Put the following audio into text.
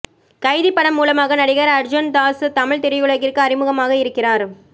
கைதி படம் மூலமாக நடிகர் அர்ஜுன் தாஸ் தமிழ் திரையுலகிற்கு அறிமுகமாக இருக்கிறார்